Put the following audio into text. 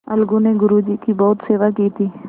अलगू ने गुरु जी की बहुत सेवा की थी